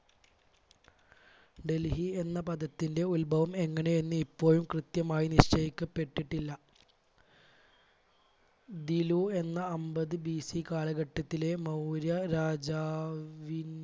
ഡൽഹി എന്ന പദത്തിന്റെ ഉത്ഭവം എങ്ങനെ എന്ന് ഇപ്പോഴും കൃത്യമായി നിശ്ചയിക്കപ്പെട്ടിട്ടില്ല. ദിലു എന്ന അൻപത് BC കാലഘട്ടത്തിലെ മൗര്യ രാജാവി,